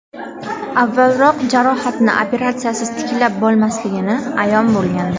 Avvalroq jarohatni operatsiyasiz tiklab bo‘lmasligini ayon bo‘lgandi.